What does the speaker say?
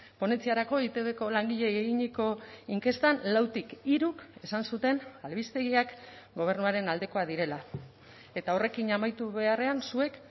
ponentziarako eitbko langileei eginiko inkestan lautik hiruk esan zuten albistegiak gobernuaren aldekoak direla eta horrekin amaitu beharrean zuek